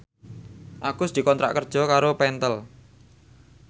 Agus dikontrak kerja karo Pentel